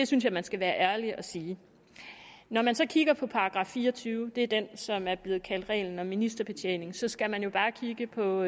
synes jeg man skal være ærlig at sige når man så kigger på § fire og tyve det er det den som er blevet kaldt reglen om ministerbetjening så skal man jo bare kigge på